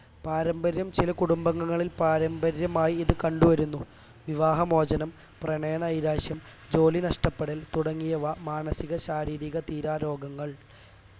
പാരമ്പര്യം ചില കുടുംബങ്ങളിൽ പാരമ്പര്യമായി ഇത് കണ്ടുവരുന്നു വിവാഹ മോചനം പ്രണയനൈരാശ്യം ജോലി നഷ്ടപ്പെടൽ തുടങ്ങിയവ മാനസിക ശാരീരിക തീരാ രോഗങ്ങൾ